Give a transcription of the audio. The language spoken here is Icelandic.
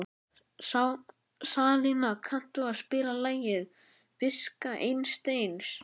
Salína, kanntu að spila lagið „Viska Einsteins“?